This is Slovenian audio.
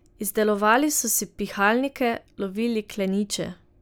Izdelovali so si pihalnike, lovili kleniče.